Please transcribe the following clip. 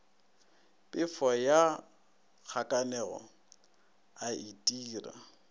phefo ya kgakanego a itira